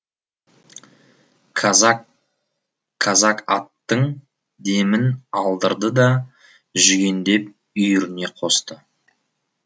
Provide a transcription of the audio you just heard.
казак аттың демін алдырды да жүгендеп үйіріне қосты